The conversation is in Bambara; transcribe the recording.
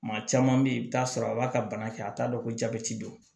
Maa caman bɛ yen i bɛ t'a sɔrɔ a b'a ka bana kɛ a t'a dɔn ko jabɛti don